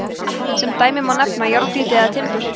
sem dæmi má nefna járngrýti eða timbur